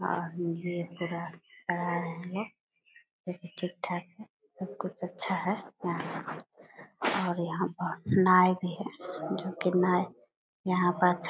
और ये पूरा लेकिन ठीक ठाक है। सब कुछ अच्छा है। और यहाँ बहुत नाइ भी है जो की नाइ यहाँ पर --